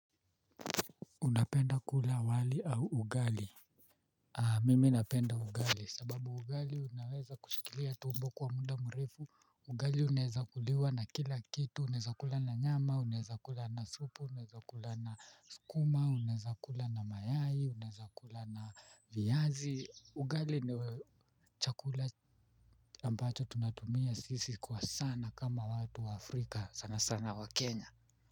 Unapenda kula wali au ugali? Mimi napenda ugali sababu ugali unaweza kushikilia tumbo kwa muda mrefu. Ugali unaeza kuliwa na kila kitu, unaeza kula na nyama, unaeza kula na supu, unaeza kula na skuma, unaeza kula na mayai, unaeza kula na viyazi. Ugali ni chakula ambacho tunatumia sisi kwa sana kama watu wa Afrika sana sana wakenya.